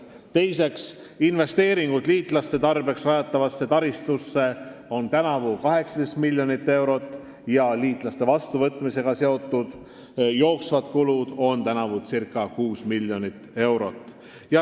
Teiseks, investeeringud liitlaste tarbeks rajatavasse taristusse on tänavu 18 miljonit eurot ja liitlaste vastuvõtmisega seotud jooksvad kulud circa 6 miljonit eurot.